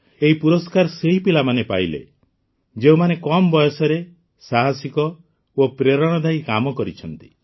ଏହି ପୁରସ୍କାର ସେହି ପିଲାମାନେ ପାଇଲେ ଯେଉଁମାନେ କମ୍ ବୟସରେ ସାହସିକ ଓ ପ୍ରେରଣାଦାୟୀ କାମ କରିଛନ୍ତି